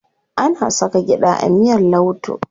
Ana saka gyaɗa a miyar lauto.